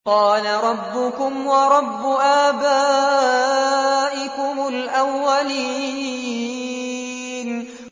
قَالَ رَبُّكُمْ وَرَبُّ آبَائِكُمُ الْأَوَّلِينَ